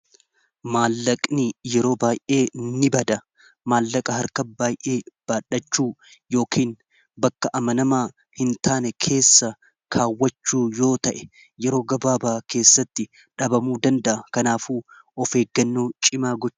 Maallaqni yeroo baay'ee ni bada maallaqa harka baayee baadhachuu yookin bakka amanamaa hin taane keessa kaawwachuu yoo ta'e yeroo gabaabaa keessatti dhabamu dandaa kanaaf of eeggannoo cimaa godhu.